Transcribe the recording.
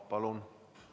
Palun!